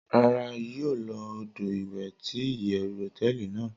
Rara, yio lo odo iwe ti iyewu hoteeli nàá